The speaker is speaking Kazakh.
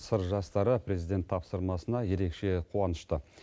сыр жастары президент тапсырмасына ерекше қуанышты